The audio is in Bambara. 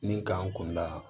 Min k'an kunda